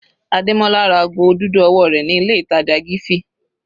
Ademola ra ago dúdú ọwọ́ rẹ̀ ní ilé ìtàjà Giffy.